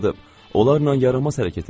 Onlarla yaramaz hərəkət eləyib.